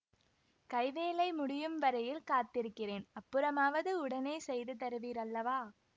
கைவேலை முடியும் வரையில் காத்திருக்கிறேன் அப்புறமாவது உடனே செய்து தருவீர் அல்லவா